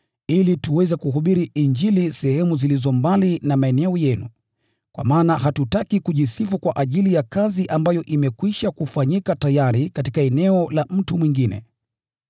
ili tuweze kuhubiri Injili sehemu zilizo mbali na maeneo yenu. Kwa maana hatutaki kujisifu kwa ajili ya kazi ambayo imekwisha kufanyika tayari katika eneo la mtu mwingine.